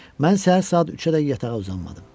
Mən səhər saat üçə dək yatağa uzanmadım.